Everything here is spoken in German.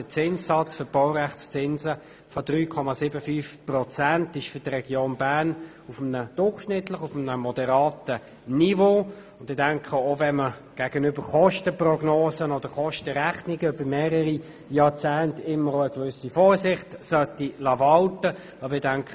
Der Zinssatz für die Baurechtszinse von 3,75 Prozent ist für die Region auf einem durchschnittlich moderaten Niveau, auch wenn man gegenüber Kostenprognosen oder rechnungen über mehrere Jahrzehnte immer eine gewisse Vorsicht walten lassen sollte.